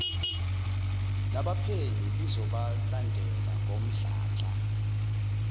labaphenyi lizobalandela ngomdlandla